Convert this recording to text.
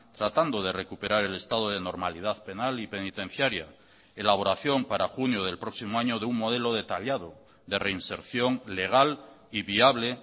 tratando de recuperar el estado de normalidad penal y penitenciaria elaboración para junio del próximo año de un modelo detallado de reinserción legal y viable